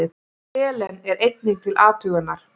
Selen er einnig til athugunar.